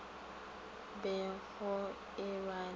be go e ba le